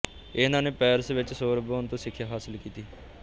ਇਹਨਾਂ ਨੇ ਪੈਰਿਸ ਵਿੱਚ ਸੋਰਬੋਨ ਤੋਂ ਸਿਖਿਆ ਹਾਸਲ ਕੀਤੀ